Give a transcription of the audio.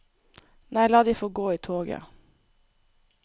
Nei, la de få gå i toget.